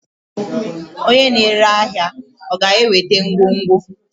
onye na-ere ahịa ọ ga-eweta ngwongwo?